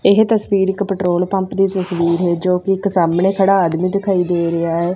ਇਹ ਤਸਵੀਰ ਇੱਕ ਪੈਟ੍ਰੋਲ ਪੰਪ ਦੀ ਤਸਵੀਰ ਹੈ ਜੋ ਕਿ ਇੱਕ ਸਾਹਮਣੇ ਖੜਾ ਆਦਮੀ ਦਿਖਾਈ ਦੇ ਰਿਹਾ ਹੈ।